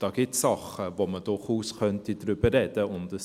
Da gibt es Dinge, über die man durchaus sprechen könnte.